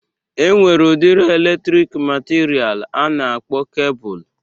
E nwere udiri elektriki matiria a na-akpọ kebul